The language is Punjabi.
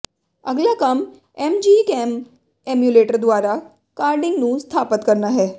ਅਗਲਾ ਕੰਮ ਐਮਜੀ ਕੈਮ ਏਮੂਲੇਟਰ ਦੁਆਰਾ ਕਾਰਡਿੰਗ ਨੂੰ ਸਥਾਪਤ ਕਰਨਾ ਹੈ